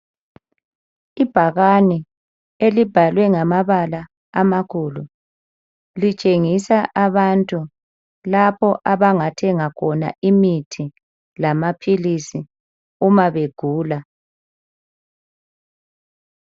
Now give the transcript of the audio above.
Ibhakani elibhalwe ngamabala amakhulu, litshengisa abantu lapho abangathenga khona imithi lamaphilisi uma begula.